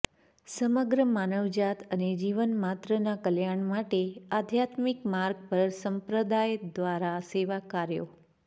સમગ્ર માનવજાત અને જીવમાત્રના કલ્યાણ માટે આધ્યાત્મિક માર્ગ પર સંપ્રદાય દ્વારા સેવા કાર્યો